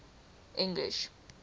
english